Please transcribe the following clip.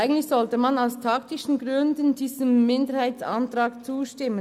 Eigentlich sollte man diesem Minderheitsantrag aus taktischen Gründen zustimmen.